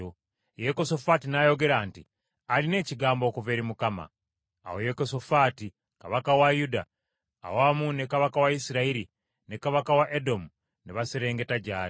Yekosafaati n’ayogera nti, “Alina ekigambo okuva eri Mukama .” Awo Yekosafaati kabaka wa Yuda, awamu ne kabaka wa Isirayiri, ne kabaka wa Edomu ne baserengeta gy’ali.